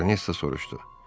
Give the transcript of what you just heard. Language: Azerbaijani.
Baronessa soruşdu: